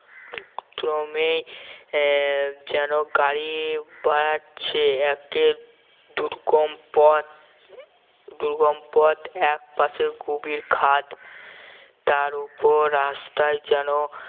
ক্রমে আহ যেন গাড়ি বাড়াচ্ছে একে দুর্গম পথ এক পাশে গভীর খাদ তার ওপর রাস্তায় যেন